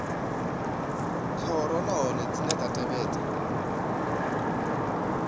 khoro nahone dzine dza tevhedza